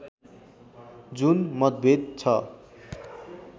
जुन मतभेद छ